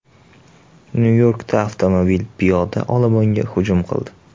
Nyu-Yorkda avtomobil piyoda olomonga hujum qildi.